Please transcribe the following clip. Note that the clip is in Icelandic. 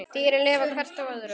Dýrin lifa hvert á öðru.